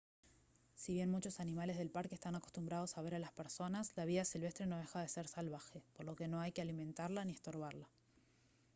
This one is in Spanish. si bien muchos animales del parque están acostumbrados a ver a las personas la vida silvestre no deja de ser salvaje por lo que no hay que alimentarla ni estorbarla